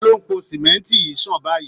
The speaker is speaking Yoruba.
Ta ló ń po símẹ́ńtì yìí sàn báyìí